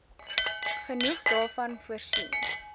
genoeg daarvan voorsien